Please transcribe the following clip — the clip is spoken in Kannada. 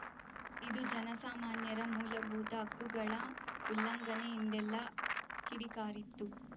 ಇದು ಜನಸಾಮಾನ್ಯರ ಮೂಲಭೂತ ಹಕ್ಕುಗಳ ಉಲ್ಲಂಘನೆ ಎಂದೆಲ್ಲಾ ಕಿಡಿಕಾರಿತ್ತು